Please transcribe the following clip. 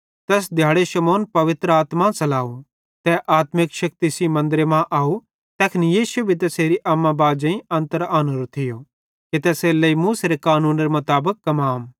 तैस दिहाड़े शमौन पवित्र आत्मा च़लाव तै आत्मिक शेक्ति सेइं मन्दरे मां अव तैखन यीशु भी तैसेरे अम्मा बाजेईं अन्तर आनोरो थियो तैसेरेलेइ मूसेरे कानूनेरे मुताबिक कमाम